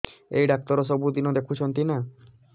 ଏଇ ଡ଼ାକ୍ତର ସବୁଦିନେ ଦେଖୁଛନ୍ତି ନା